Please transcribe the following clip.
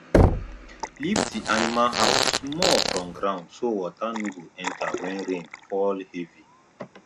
lift the animal house small from ground so water no go enter when rain fall heavy